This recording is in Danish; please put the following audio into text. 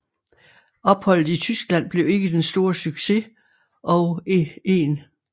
Opholdet i Tyskland blev ikke den store succes og 1